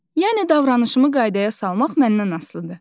Yəni davranışımı qaydaya salmaq məndən asılıdır.